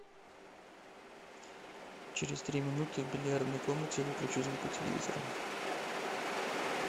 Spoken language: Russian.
через три минуты в бильярдной комнате выключи звук у телевизора